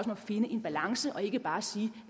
at finde en balance og ikke bare sige